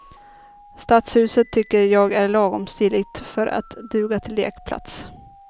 Stadshuset tycker jag är lagom stiligt för att duga till lekplats.